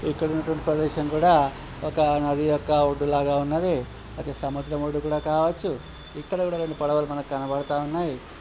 ఇక్కడున్నటువంటి ప్రదేశం కూడా ఒక నది యొక్క ఒడ్డు లాగా ఉన్నది అది సముద్రం ఒడ్డు కూడా కావొచ్చు ఇక్కడ గూడా రెండు పడవలు మనకు కనబడతా ఉన్నాయి.